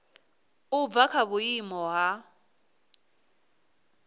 u bva kha vhuimo ha